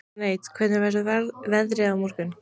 Dante, hvernig verður veðrið á morgun?